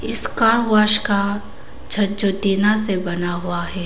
इस car wash का छत जो टीना से बना है।